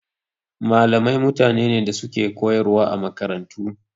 Malamai mutane ne da suke koyarwa a makarantu.